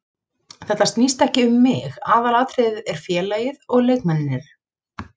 Þetta snýst ekki um mig, aðalatriðið er félagið og leikmennirnir.